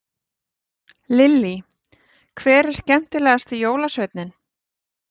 Lillý: Hver er skemmtilegast jólasveinninn?